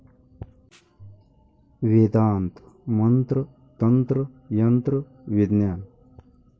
वेदांत मंत्र तंत्र यंत्र विज्ञान